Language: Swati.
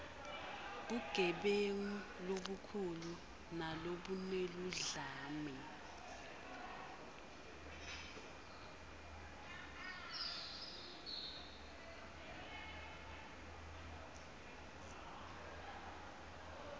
bugebengu lobukhulu nalobuneludlame